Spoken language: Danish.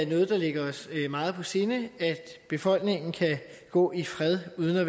ligger os meget på sinde at befolkningen kan gå i fred uden at